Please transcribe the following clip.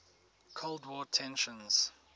cold war tensions